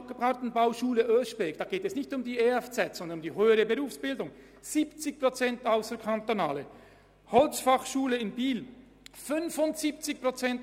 An der höheren Berufsbildung an der Gartenbauschule Oeschberg sind es sogar gegen 70 Prozent und an der Holzfachschule Biel 75 Prozent.